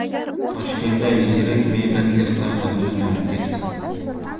Toshkentda yirik mebel sexlaridan biri yonib ketdi.